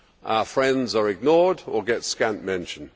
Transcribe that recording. Our friends are ignored or get scant mention.